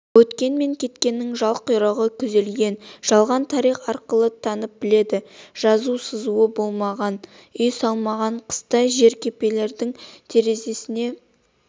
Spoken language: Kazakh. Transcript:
өткен мен кеткенін жал-құйрығы күзелген жалған тарих арқылы танып-біледі жазу-сызуы болмаған үй салмаған қыста жеркепенің терезесіне